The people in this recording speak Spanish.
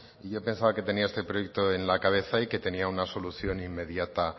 y yo pensaba que tenía este proyecto en la cabeza y que tenía una solución inmediata